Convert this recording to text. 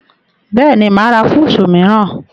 Bẹ́ẹ̀ni, mà á ra fúùsù mìíràn